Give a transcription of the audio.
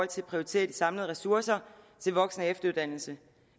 til at prioritere de samlede ressourcer til voksen og efteruddannelse